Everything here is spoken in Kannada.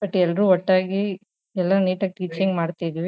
ಬಟ್ ಎಲ್ರು ಒಟ್ಟಾಗಿ ಎಲ್ಲ ನೀಟಾ ಗಿ ಟೀಚಿಂಗ್ ಮಾಡ್ತಿದ್ವಿ.